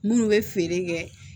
Munnu bɛ feere kɛ